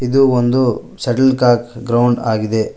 ಇದು ಒಂದು shuttlecock ground ಆಗಿದೆ.